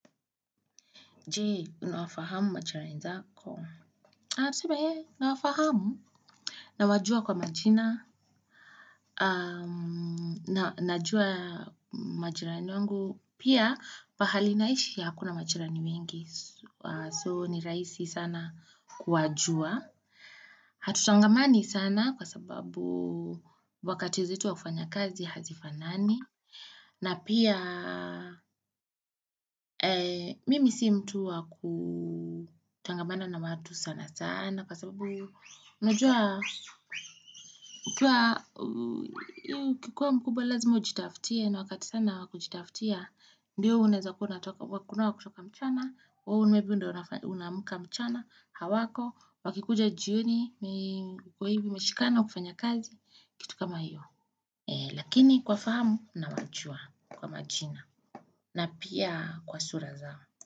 Jee unawafahamu machirani zako? Natuseme nawafahamu nawajua kwa majina Najua majirani wangu Pia pahali naishi hakuna machirani wengi So ni rahisi sana kuwajua Hatutangamani sana kwa sababu wakati zetu wa kufanya kazi hazifanani na pia mimi si mtu wa kutangamana na watu sana sana kwa sababu unajua ukikua mkubwa lazima ujitaftie na wakati sana wakujitaftia Ndiyo uneza kuwa wakunawa kuchoka mchana, unaamka mchana hawako wakikuja jioni kwa hivi umeshikana ukifanya kazi kitu kama hiyo lakini kwafaamu nawachua kwa machina na pia kwa sura zao.